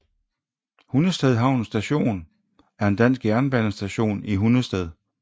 Hundested Havn Station er en dansk jernbanestation i Hundested